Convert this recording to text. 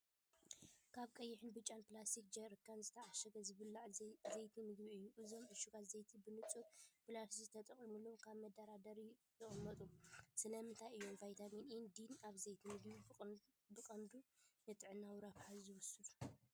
ኣብ ቀይሕን ብጫን ፕላስቲክ ጀሪካን ዝተዓሸገ ዝብላዕ ዘይቲ ምግቢ እዩ። እዞም ዕሹጋት ዘይቲ ብንጹር ፕላስቲክ ተጠቕሊሎም ኣብ መደርደሪ ይቕመጡ። ስለምንታይ እዮም ቫይታሚን ኤን ዲን ኣብ ዘይቲ ምግቢ ብቐንዱ ንጥዕናዊ ረብሓ ዝውሰኹ?